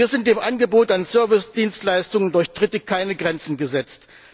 Hier sind dem Angebot an Servicedienstleistungen durch Dritte keine Grenzen gesetzt.